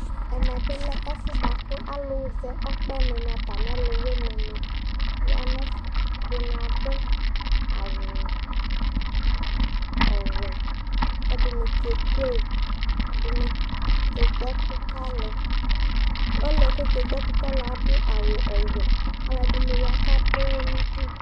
ɛmɛ lɛ ɛfʊ bua kʊ alʊ zɛ ɔkpɛnɩ nɩ atamiɔlʊwɩnɩ nɩ ua nʊ ɛfɛ, ɛdɩnɩ adʊ awʊ ɔwɛ, kʊ ɛdɩnɩ kazɛ yeye, ɛdɩnɩ kegbǝ ɛkʊ kʊ alʊ, ɔlʊ yɛ kʊ okegbǝ ɛkʊ kʊ alʊ yɛ adʊ awʊ wɛ, alʊɛdɩnɩ ya kadʊ ɔwɔ nʊ udu